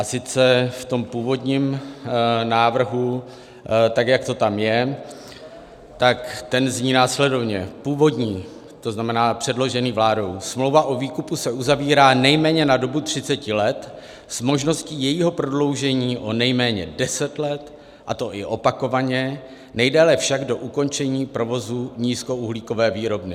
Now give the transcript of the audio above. A sice v tom původním návrhu tak, jak to tam je, tak ten zní následovně - původní, to znamená předložený vládou: Smlouva o výkupu se uzavírá nejméně na dobu 30 let s možností jejího prodloužení o nejméně 10 let, a to i opakovaně, nejdéle však do ukončení provozu nízkouhlíkové výrobny.